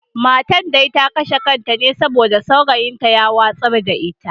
Matar ta kashe kanta ne saboda saurayin nata ya watsar da ita.